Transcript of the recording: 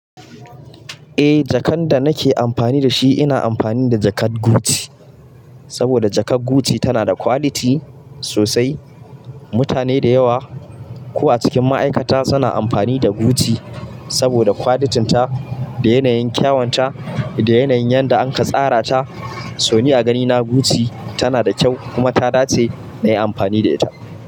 Eh, jakan da nake amfani da shi ina amfani da jakar Gucci, saboda jakar Gucci tana da quality sosai. Mutane da yawa, ko a cikin ma'aikata suna amfani da Gucci saboda qualitin ta da yana yin kyawanta da yana yin yanda anka tsara ta. So ni a ganina Gucci tana da kyau, kuma ta dace nayi amfani da ita.